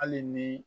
Hali ni